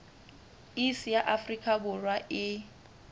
iss ya afrika borwa e